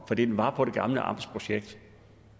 for den var på det gamle amtsprojekt